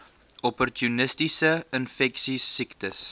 opportunistiese infeksies siektes